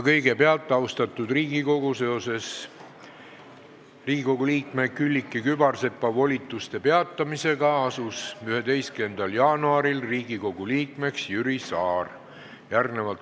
Kõigepealt, austatud Riigikogu, seoses Riigikogu liikme Külliki Kübarsepa volituste peatamisega asus 11. jaanuaril Riigikogu liikmeks Jüri Saar.